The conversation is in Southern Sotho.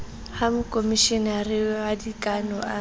ha mokomeshenara wa dikano a